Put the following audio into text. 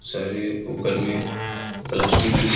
सारे ऊपर में प्लास्टिक भी--